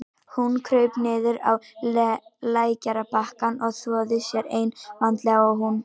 Hún kraup niður á lækjarbakkann og þvoði sér eins vandlega og hún gat.